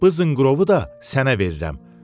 Bu zınqırovu da sənə verirəm.